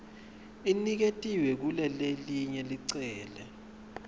iniketiwe kulelelinye licele